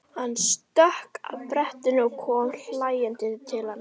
Hann stökk af brettinu og kom hlæjandi til hennar.